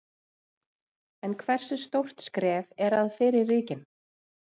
En hversu stórt skref er að fyrir ríkin?